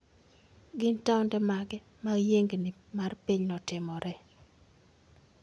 Gin taonde mage ma yiengini mar piny ne otimoree?